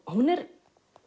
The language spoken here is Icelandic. hún er